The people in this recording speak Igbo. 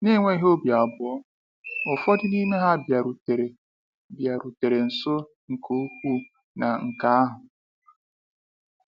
N'enweghị obi abụọ, ụfọdụ n’ime ha bịarutere bịarutere nso nke ukwuu na nke ahụ.